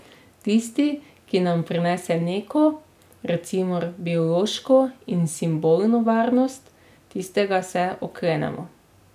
Tisti, ki nam prinese neko, recimo, biološko in simbolno varnost, tistega se oklenemo.